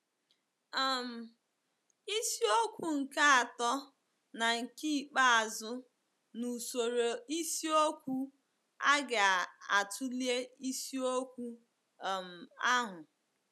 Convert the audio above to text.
um Isiokwu nke atọ na nke ikpeazụ n'usoro isiokwu a ga-atụle isiokwu um ahụ.